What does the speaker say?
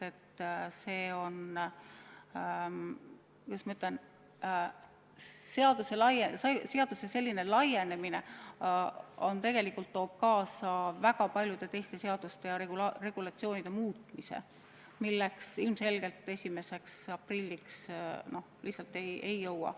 See, kuidas ma ütlen, seaduse selline laienemine toob tegelikult kaasa väga paljude teiste seaduste muutmise, mida ilmselgelt 1. aprilliks lihtsalt ei jõua.